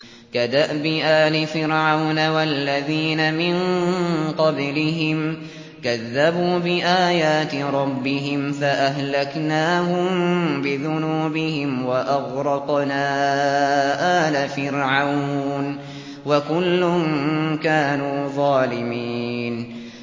كَدَأْبِ آلِ فِرْعَوْنَ ۙ وَالَّذِينَ مِن قَبْلِهِمْ ۚ كَذَّبُوا بِآيَاتِ رَبِّهِمْ فَأَهْلَكْنَاهُم بِذُنُوبِهِمْ وَأَغْرَقْنَا آلَ فِرْعَوْنَ ۚ وَكُلٌّ كَانُوا ظَالِمِينَ